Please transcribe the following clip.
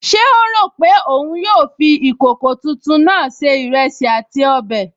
Ṣé ó rò pé òun yóò fi ìkòkò tuntun náà se ìrẹsì àti ọbẹ̀?